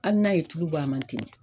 Hali n'a ye tulu bɔ a ma